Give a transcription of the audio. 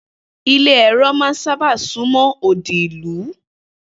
Ilé èrò̩ máa ń sábà sún mó̩ odi ìlú